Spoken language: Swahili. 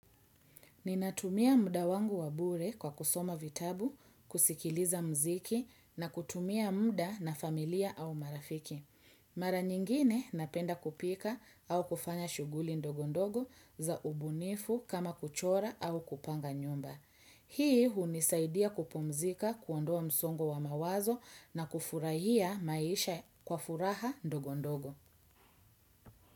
Ninatumia muda wangu wa bure kwa kusoma vitabu, kusikiliza mziki na kutumia muda na familia au marafiki. Mara nyingine napenda kupika au kufanya shughuli ndogondogo za ubunifu kama kuchora au kupanga nyumba. Hii hunisaidia kupumzika, kuondoa msongo wa mawazo na kufurahia maisha kwa furaha ndogondogo.